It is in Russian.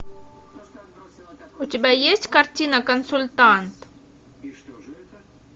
у тебя есть картина консультант